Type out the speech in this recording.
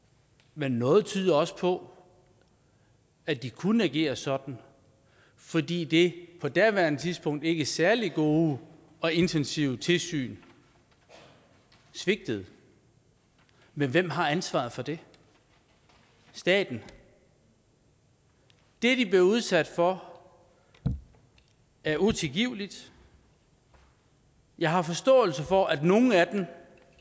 men noget tyder også på at de kunne agere sådan fordi det på daværende tidspunkt ikke særlig gode og intensive tilsyn svigtede men hvem har ansvaret for det staten det de blev udsat for er utilgiveligt jeg har forståelse for at nogle af dem